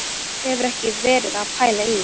Þú hefur ekki verið að pæla í því?